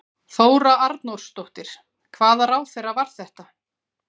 Þóra Arnórsdóttir: Hvaða ráðherra var þetta?